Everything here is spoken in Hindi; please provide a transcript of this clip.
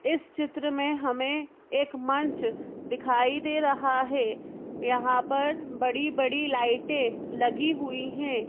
इस चित्र में हमें एक मंच दिखाई दे रहा है यहां पर बड़ी बड़ी लाइटें लगी हुई हैं।